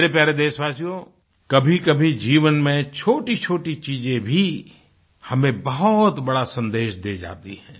मेरे प्यारे देशवासियो कभीकभी जीवन में छोटीछोटी चीज़ें भी हमें बहुत बड़ा सन्देश दे जाती हैं